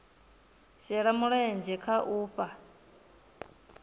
shela mulenzhe kha u fhaa